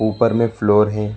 ऊपर में एक फ्लोर है।